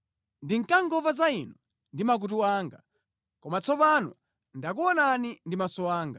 Ndinkangomva za Inu ndi makutu anga, koma tsopanonso ndakuonani ndi maso anga.